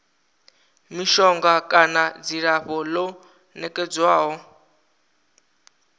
mishonga kana dzilafho ḽo nekedzwaho